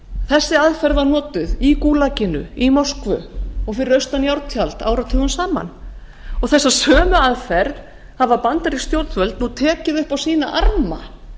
þessi aðferð var notuð í gúlaginu í moskvu og fyrir austan járntjald áratugum saman þessa sömu aðferð hafa bandarísk stjórnvöld nú tekið upp á sína arma